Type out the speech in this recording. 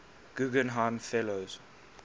guggenheim fellows